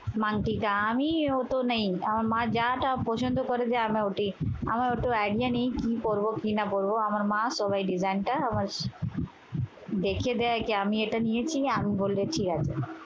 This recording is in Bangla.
মানটিকা। আমি অত নেই। আমার মা যা যা পছন্দ করে করে দেয় আমার ওটাই। আমার অত idea নেই কি পরব কি না পরব। আমার মা সবই design টা আমার দেখিয়ে দেয় কি আমি এটা নিয়েছি আমি বলেছি আছে।